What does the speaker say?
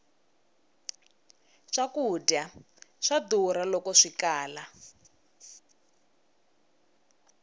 swkudya swa durha loko swikala